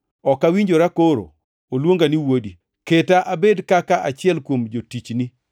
Ok awinjora koro oluonga ni wuodi; keta abed kaka achiel kuom jotichni.’